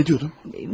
Bəki nə deyirdin?